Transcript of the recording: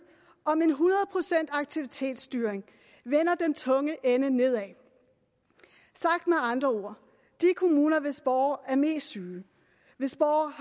om en hundrede procents aktivitetsstyring vender den tunge ende nedad sagt med andre ord de kommuner hvis borgere er mest syge hvis borgere